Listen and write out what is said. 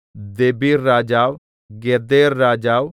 ദെബീർരാജാവ് ഗേദെർരാജാവ്